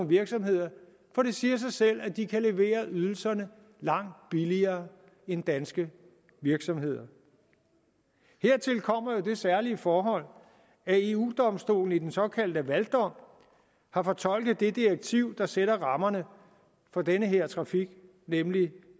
virksomheder for det siger sig selv at de kan levere ydelserne langt billigere end danske virksomheder hertil kommer jo det særlige forhold at eu domstolen i den såkaldte lavaldom har fortolket det direktiv der sætter rammerne for den her trafik nemlig